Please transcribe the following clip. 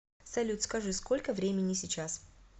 салют скажи сколько времени сейчас